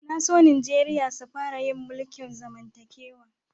Na so Nijeriya sun fara yin mulki'n zamantakewa.